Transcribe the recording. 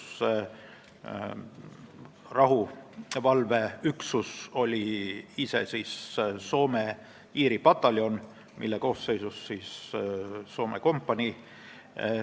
See rahuvalveüksus oli Soome-Iiri pataljon, mille koosseisus oli Soome kompanii.